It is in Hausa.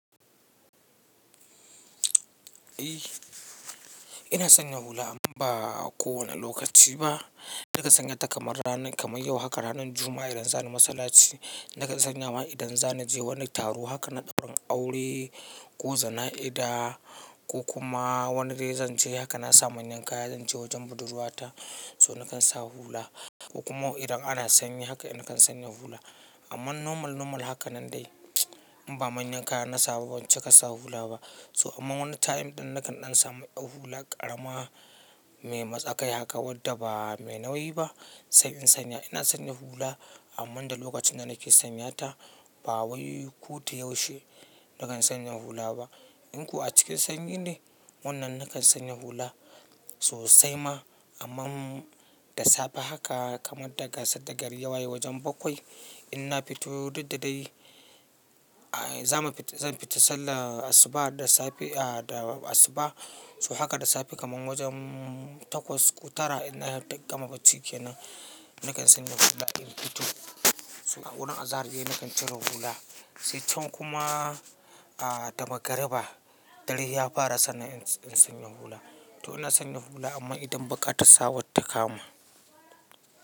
Eh ina sanya hula amma ba kowane lokaci ba. Naka sanya ta kamar ranan kamar yau haka ranan Juma'a idan za ni masallaci, naka sanya ma idan za ni je wani taro haka na ɗaurin aure ko jana'iza ko kuma wani rai zan je haka na samu manyan kaya zan je wajen budurwata, so nakan sa hula. Ko kuma idan ana sanyi haka ina kan sanya hula. Amma normal, normal haka nan dai in ba manyan kaya na sa ba banci ka sa hula ba. So amma wani time ɗin nakan ɗan samu ɗau hula ƙarama me matsakai haka wadda ba me nauyi ba sai in sanya. Ina sanya hula amma da lokacin da nake sanya ta ba wai koda yaushe nakan sanya hula ba. In kuwa cikin sanyi ne wannan nakan sanya hula sosai ma amma da safe haka kamar daga sadda gari ya waye wajen bakwai ina fito duk da dai a zan fita, zan fita sallar asuba da safe a da asuba. So haka da safe kaman wajen takwas ko tara ina gama bacci kenan nakan sanya hula in fito. So a wurin azahar ne nakan ciro hula. Sai can kuma a da magriba dare ya fara sannan in sanya hula. To ina sanya hula amma idan baƙata sa wata kama.